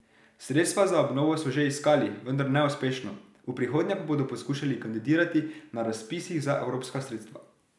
Sredstva za obnovo so že iskali, vendar neuspešno, v prihodnje pa bodo poskušali kandidirati na razpisih za evropska sredstva.